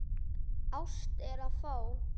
Ást er að fá.